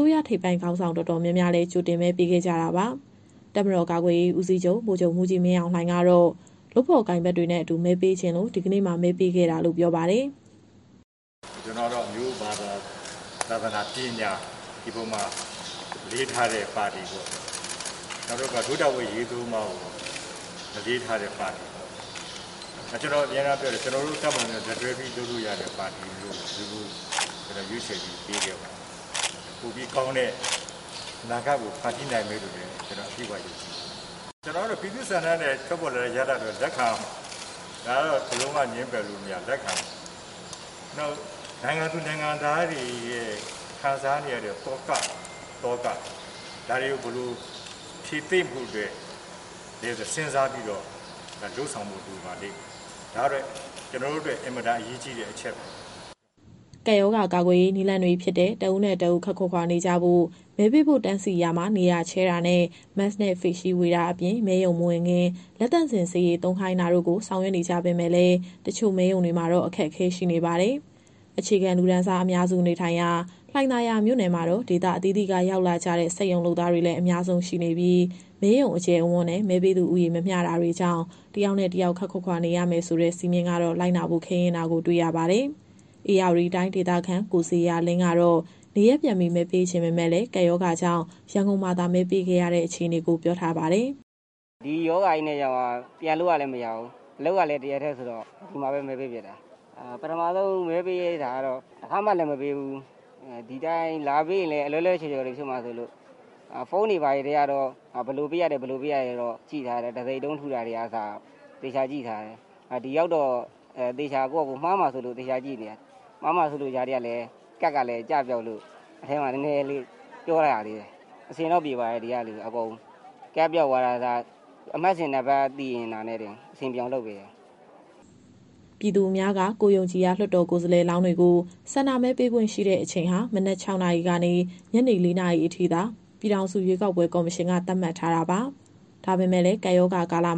ိုးရ ထိပ်ပိုင်းခေါင်းဆောင် တော်တော်များများကတော့ ကပ်ရောဂါကာလမှာ ကြိုတင်မဲပေးခဲ့ပြီး တပ်မတော်ကာကွယ်ရေးဦးစီးချုပ် ဗိုလ်ချုပ်မှူးကြီး မင်းအောင်လှိုင်ကတော့ လုပ်ဖော်ကိုင်ဘက်တွေနဲ့အတူ မဲပေးချင်လို့ ဒီနေ့မှာ မဲပေးတာလို့ ပြောပါတယ်။ "ကျနော်ကတော့ အမျိုး၊ ဘာသာ၊ သာသနာ၊ ပညာ ဒီအပေါ်မှာ အလေးထားတဲ့ ပါတီပေါ့။ နောက်တခုက ဒို့တာဝန်အရေးသုံးပါးကို အလေးထားတဲ့ပါတီပေါ့။ နောက် ကျနော်အမြဲပြောတယ်၊ ကျနော်တို့တပ်မတော်နဲ့ လက်တွဲပြီး လုပ်လို့ရတဲ့ပါတီ။ ဒီလိုမျိုးတွေကို ရွေးချယ်ပြီး ပေးခဲ့ပါတယ်။ ပိုပြီးကောင်းတဲ့ အနာဂတ်ကို ဖန်တီးနိုင်မယ်လို့ ကျနော်ယုံကြည်ပါတယ်။ ကျနော်ကတော့ ပြည်သူ့ဆန္ဒနဲ့ ထွက်ပေါ်လာတဲ့ ရလဒ်ကတော့ လက်ခံရမှာပဲ။ ဒါကတော့ လုံးဝငြင်းပယ်လို့မရ လက်ခံရမှာပဲ။ နောက် နိုင်ငံသူ နိုင်ငံသားတွေရဲ့ ခံစားနေရတဲ့ သောကတွေ၊ ဒါတွေကို ဘယ်လိုဖြေသိမ့်ဖို့အတွက် စဉ်းစားပြီးတော့ လုပ်ဆောင်ဖို့ လိုပါလိမ့်မယ်။ ဒါကတော့ ကျနော်တို့အတွက် အင်မတန်အရေးကြီးတဲ့ အချက်ပါ။" ကပ်ရောဂါကာကွယ်ရေး နည်းလမ်းတွေဖြစ်တဲ့ တဦးနဲ့တဦး ခပ်ခွာခွာနေကြဖို့၊ မဲပေးဖို့တန်းစီရာမှာ နေရာချဲတာနဲ့ Mask နဲ့ Face shield ဝေတာအပြင် မဲရုံမဝင်ခင် လက်သန့်စင်ဆေးရည် သုံးခိုင်းတာတို့ကို ဆောင်ရွက်နေကြပေမယ့်လည်း တချို့မဲရုံတွေမှာတော့ အခက်အခဲတချို့ ရှိနေပါတယ်။ အခြေခံလူတန်းစား အများစုနေထိုင်ရာ လှိုင်သာယာမြို့နယ်မှာတော့ ဒေသအသီးသီးက ရောက်လာကြတဲ့ စက်ရုံလုပ်သားတွေလည်း အများဆုံးရှိနေပြီး မဲရုံအကျယ်အဝန်းနဲ့ မဲပေးသူဦးရေ မမျှတာတွေကြောင့် တယောက်နဲ့တယောက် ခပ်ခွာခွာနေရမယ်ဆိုတဲ့ စည်းမျဉ်းကတော့ လိုက်နာဖို့ ခဲယဉ်းတာကို တွေ့ရပါတယ်။ ဧရာဝတီတိုင်းဒေသခံ ကိုဇေယျာလင်းကတော့ နေရပ်ပြန်ပြီး မဲပေးချင်ပေမယ့် ကပ်ရောဂါကြောင့် ရန်ကုန်မှာသာ မဲပေးခဲ့ရတဲ့ အခြေအနေကို ပြောထားပါတယ်။ "ဒီရောဂါကြီးနဲ့ဆိုတော့ ပြန်လို့ကလည်းမရဘူး။ အလုပ်ကလည်း တရက်တည်း ပိတ်တာဆိုတော့ ဒီမှာပဲ မဲပေးဖြစ်တာ။ ပထမဆုံး မဲပေးတာပေါ့၊ တခါမှလည်း မပေးဖူးဘူးဆိုတော့ ဒီတိုင်းလာပေးရင် အလွဲလွဲအချော်ချော်တွေ ဖြစ်မှာစိုးလို့ ဖုန်းတွေထဲကနေ ဘယ်လိုပေးရတယ်ဆိုတာ ကြည့်ထားတယ်၊ တံဆိပ်တုံး ထုတာတွေကအစ သေချာကြည့်ထားတယ်။ ဒီရောက်တော့ မှားမှာစိုးလို့ သေချာကြည့်ထားတဲ့ ကြားထဲကလည်း ကတ် (မဲပေးခွင့်သက်သေခံကတ်ပြား) ကလည်း ကျပျောက်လို့ မဲရုံထဲမှာ စကားနည်းနည်း ပြောရသေးတယ်။ အဆင်တော့ပြေပါတယ်၊ ဒီကလူတွေအကုန်လုံးက ကတ်ပျောက်သွားတာကအစ အမှတ်စဉ်နံပါတ် သိနေတာနဲ့တင် အဆင်ပြေအောင် လုပ်ပေးတယ်။" ပြည်သူအများက ကိုယ်ယုံကြည်ရာ လွှတ်တော်ကိုယ်စားလှယ်လောင်းတွေကို ဆန္ဒမဲပေးခွင့်ရှိတဲ့ အချိန်ဟာ မနက် ၆ နာရီကနေ ညနေ ၄ နာရီအထိသာ ပြည်ထောင်စုရွေးကောက်ပွဲ ကော်မရှင်က သတ်မှတ်ထားတာပါ။ ဒါပေမယ့်လည်း ကပ်ရောဂါကာလ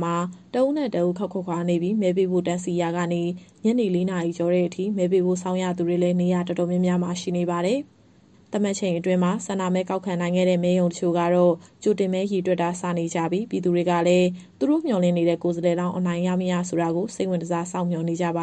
တဦးနဲ့တဦး ခပ်ခွာခွာနေပြီး မဲပေးဖို့ တန်းစီရာကနေ ညနေ ၄ နာရီကျော်တဲ့အထိ မဲပေးဖို့ စောင့်ရတဲ့သူတွေလည်း နေရာတော်တော်များများမှာ ရှိနေပါတယ်။ သတ်မှတ်ချိန်အတွင်း ဆန္ဒမဲကောက်ခံနိုင်ခဲ့တဲ့ မဲရုံတချို့ကတော့ ကြိုတင်မဲတွေ စတင်ရေတွက်နေကြပြီး ပြည်သူတွေကလည်း သူတို့မျှော်လင့်နေတဲ့ ကိုယ်စားလှယ်လောင်း အနိုင်ရမရ ဆိုတာကို စိတ်ဝင်တစား စောင့်မျှော်နေကြပါ